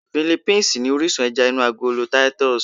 Philippines ni orísun ẹja inú agolo Titus